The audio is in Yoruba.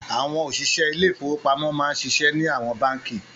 Àwọn òṣìṣẹ́ ilé-ìfowópamọ́ máa n ṣiṣẹ́ ní àwọn báǹkì